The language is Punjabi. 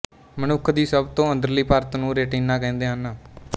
ਮਨੁੱਖ ਦੀ ਸਭ ਤੋਂ ਅੰਦਰਲੀ ਪਰਤ ਨੂੰ ਰੇਟਿਨਾ ਕਹਿੰਦੇ ਹਨ